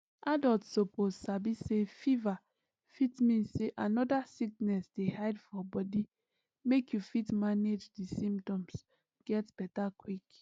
adults suppose sabi say fever fit mean say another sickness dey hide for body make you fit manage di symptoms get beta quick